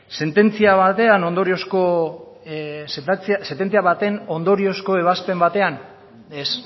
sententzia baten ondoriozko ebazpen batean ez